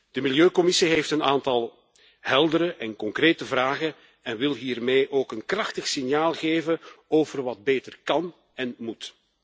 De Milieucommissie heeft een aantal heldere en concrete vragen en wil hiermee ook een krachtig signaal geven over wat beter kan en moet.